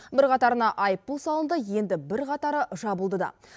бірқатарына айыппұл салынды енді бірқатары жабылды да